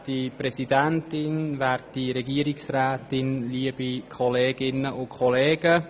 Bitte beenden Sie Ihre Gespräche, damit Grossrat Alberucci anfangen kann.